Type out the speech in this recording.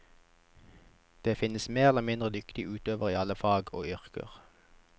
Det finnes mer eller mindre dyktige utøvere i alle fag og yrker.